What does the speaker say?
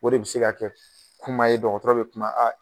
O de be se ka kɛ kuma ye dɔgɔtɔrɔ be kuma